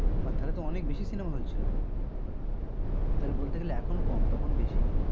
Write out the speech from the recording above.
তাহলে তো অনেক বেশি cinema hall ছিল তখন। তাহলে বলতে গেলে এখন কম তখন বেশি।